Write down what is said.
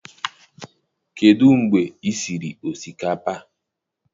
Kedụ mgbe i siri osikapa?